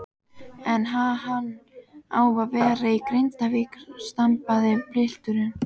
En ha-hann á að vera í Grindavík, stamaði pilturinn.